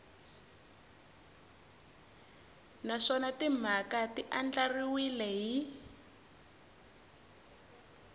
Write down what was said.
naswona timhaka ti andlariwile hi